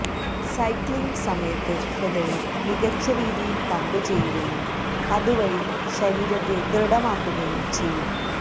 cycling സമയത്ത് ഹൃദയം മികച്ച രീതിയില് പമ്പ് ചെയ്യുകയും അത് വഴി ശരീരത്തെ ദൃഡമാക്കുകയും ചെയ്യും